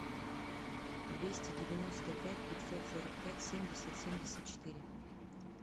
двести девяносто пять пятьсот сорок пять семьдесят семьдесят четыре